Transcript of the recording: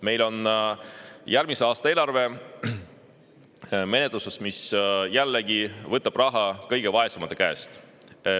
Meil on menetluses järgmise aasta eelarve, mis jällegi võtab raha kõige vaesemate käest.